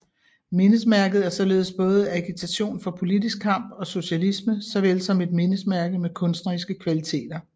Mindesmærket er således både agitation for politisk kamp og socialisme såvel som et mindesmærke med kunstneriske kvaliteter